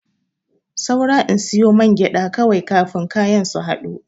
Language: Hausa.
Saura in siyo mangyaɗa kawai kafin kayan su haɗu.